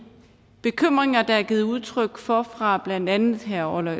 bekymringer der er givet udtryk for fra blandt andet herre orla